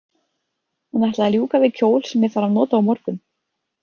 Hún ætlaði að ljúka við kjól sem ég þarf að nota á morgun.